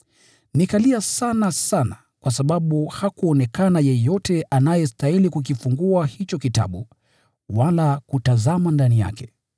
Nikalia sana sana kwa sababu hakuonekana yeyote anayestahili kukifungua hicho kitabu wala kutazama ndani yake.